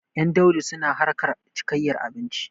Ƴan Daudu suna harkar cikayyar abinci.